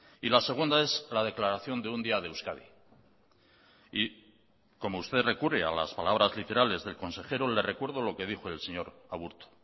y la segunda es la declaración de un día de euskadi y como usted recurre a las palabras literales del consejero le recuerdo lo que dijo el señor aburto